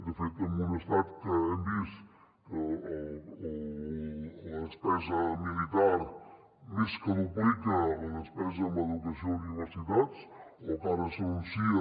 de fet en un estat que hem vist que la despesa militar més que duplica la despesa en educació i universitats o que ara s’anuncia